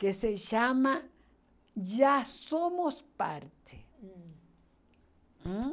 que se chama Já Somos Parte. Hum. Ãh